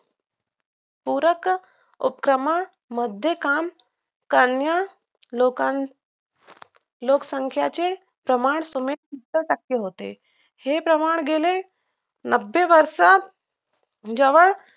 पूरक उपक्रमामध्ये काम करण्यास लोकांना लोकसंख्येचे प्रमाण सुमारे सत्तर टक्के होते हे प्रमाण गेले नबे वर्षात जवळ